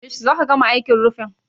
Yaushe za ka gama aikin rufin?